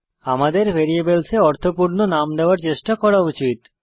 আমাদের ভ্যারিয়েবলস এ অর্থপূর্ণ নাম দেওয়ার চেষ্টা করা উচিত